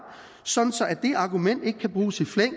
sådan at det argument ikke kan bruges i flæng